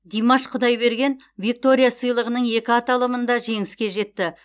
димаш құдайберген виктория сыйлығының екі аталымында жеңіске жетті